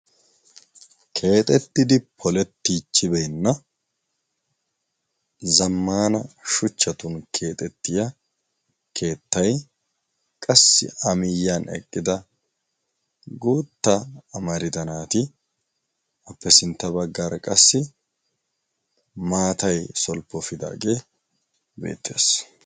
keexettidi polettiichchibeenna zammana shuchchatun keexettiya keettai qassi amiyyiyan eqqida gootta amarida naati appe sintta baggaara qassi maatai solppo fidaagee beetties